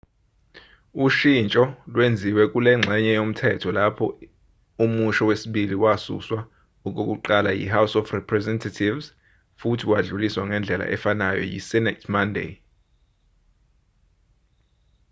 ushintsho lwenziwe kulengxenye yomthetho lapho imusho wesibili wasuswa okokuqala yi-house of representatives futhi wadluliswa ngendlela efanayo yi-senate monday